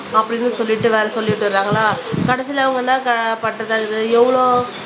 அப்படின்னு சொல்லிட்டு வேற சொல்லிட்டு கடைசியில அவங்கதான் பண்றது எவ்ளோ